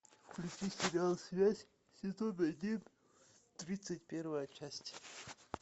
включи сериал связь сезон один тридцать первая часть